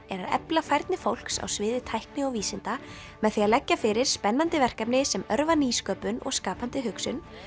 er að efla færni ungs fólks á sviði tækni og vísinda með því að leggja fyrir spennandi verkefni sem örva nýsköpun og skapandi hugsun